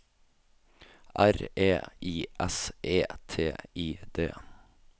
R E I S E T I D